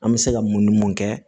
An bɛ se ka mun ni mun kɛ